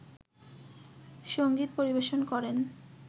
সংগীত পরিবেশন করেন